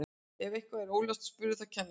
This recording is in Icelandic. ef eitthvað er óljóst spurðu þá kennarann